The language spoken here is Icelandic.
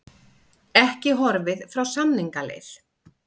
Ekki horfið frá samningaleið